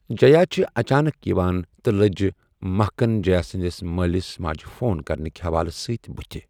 جیا چھِ اچانک یِوان تہٕ لٔج مہکٕن جیا سنٛدِس مٲلِس ماجہٕ فون کرنٕک حوالہٕ سۭتۍ بتِھہِ۔